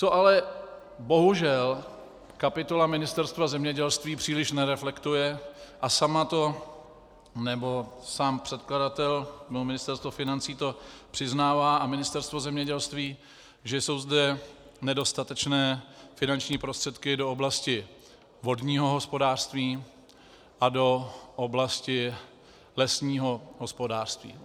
Co ale bohužel kapitola Ministerstva zemědělství příliš nereflektuje a sama to, nebo sám předkladatel nebo Ministerstvo financí to přiznává a Ministerstvo zemědělství, že jsou zde nedostatečné finanční prostředky do oblasti vodního hospodářství a do oblasti lesního hospodářství.